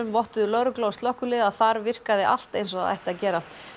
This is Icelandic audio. vottuðu lögregla og slökkvilið að þar virkar allt eins og það á að gera